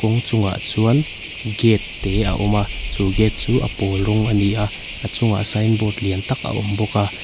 a hnungah chuan gate te a awm a chu gate chu a pawl rawng ani a a chungah signboard lian tak a awm bawk a.